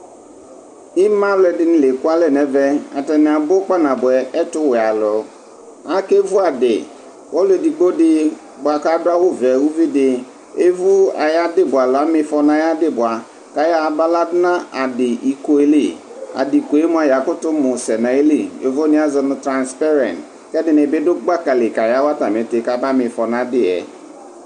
ima alò ɛdini l'eku alɛ n'ɛvɛ atani abu kpa na boɛ ɛtuwɛ alò ake vu adi ɔlò edigbo di boa k'adu awu vɛ uvi di evu ayi adi bua alo ama ifɔ n'ayi adi bua k'ayɔ ya ba la du no adi iko li adi ko yɛ moa ya kuto mu sɛ n'ayili yovo ni azɔ no transpɛrɛnt k'ɛdini bi du gbaka li ka ya wa atami iti ka ba m'ifɔ n'adi yɛ.